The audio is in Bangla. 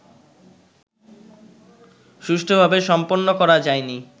সুষ্ঠুভাবে সম্পন্ন করা যায়নি